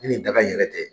Ni nin daga in yɛrɛ tɛ